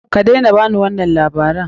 Kadaina ba ni wannan labaran!